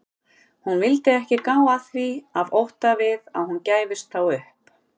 Hún vildi ekki gá að því af ótta við að hún gæfist þá upp.